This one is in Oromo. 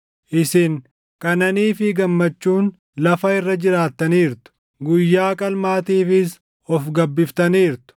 Isin qananii fi gammachuun lafa irra jiraattaniirtu. Guyyaa qalmaatiifis of gabbiftaniirtu.